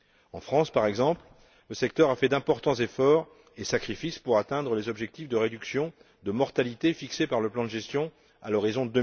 En France, par exemple, le secteur a fait d'importants efforts et sacrifices pour atteindre les objectifs de réduction de mortalité fixés par le plan de gestion à l'horizon